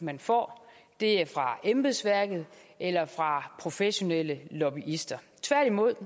man får er fra embedsværket eller fra professionelle lobbyister tværtimod